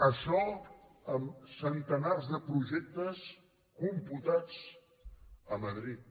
això amb centenars de projectes computats a madrid